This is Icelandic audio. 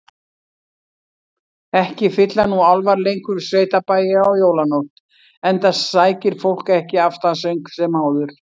Ekki fylla nú álfar lengur sveitabæi á jólanótt, enda sækir fólk ekki aftansöng sem áður.